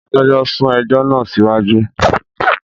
Adájọ sún ẹjọ náà siwaju